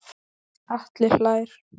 Atli hlær.